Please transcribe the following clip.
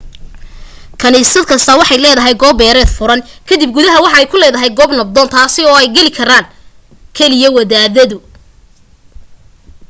kanisad kasta waxay leedahay goob beereed furan kadibna gudaha waxay ku ledahay goob nabdoon taasi oo ay galikaraan karo kaliya wadaadadu